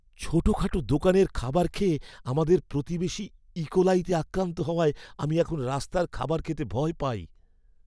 ছোটখাটো দোকানের খাবার খেয়ে আমাদের প্রতিবেশী ইকোলাইতে আক্রান্ত হওয়ায় আমি এখন রাস্তার খাবার খেতে ভয় পাই।